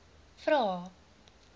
vrae